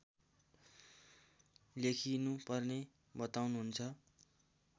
लेखिनुपर्ने बताउनुहुन्छ